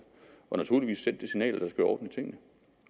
og naturligvis sendt det signal at der skal være orden i tingene